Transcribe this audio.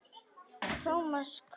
Thomas hváði.